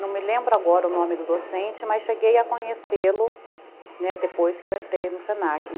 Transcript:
Não me lembro agora o nome do docente, né, mas cheguei a conhecê-lo depois que eu entrei no se na qui